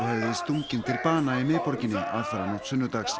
stunginn til bana í miðborginni aðfaranótt sunnudags